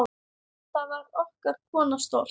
Þá var okkar kona stolt.